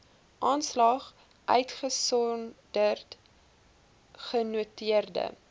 aanslag uitgesonderd genoteerde